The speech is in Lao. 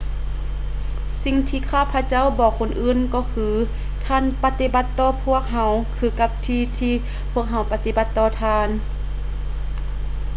ສິ່ງທີ່ຂ້າພະເຈົ້າບອກຄົນອື່ນກໍຄືທ່ານປະຕິບັດຕໍ່ພວກເຮົາຄືກັບທີ່ທີ່ພວກເຮົາປະຕິບັດຕໍ່ທ່ານ